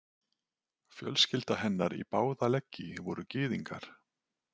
Fjölskylda hennar í báða leggi voru gyðingar.